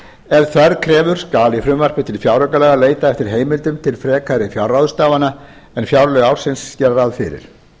ef þörf krefur skal í frumvarpi til fjáraukalaga leitað eftir heimildum til frekari fjárráðstafana en fjárlög ársins gera ráð